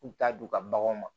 U t'a don u ka baganw ma